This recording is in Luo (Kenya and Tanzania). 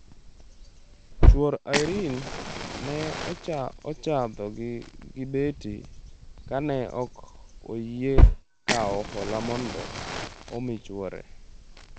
Chuor Irene ne ochadhogi gi beti ka ne ok oyie kawo hola mondo omi chuore.